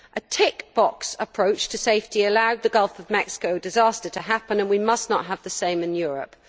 A tick box' approach to safety allowed the Gulf of Mexico disaster to happen and we must not have the same in Europe.